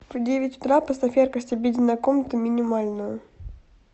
в девять утра поставь яркость обеденная комната минимальную